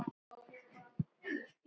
Mánuði og ár.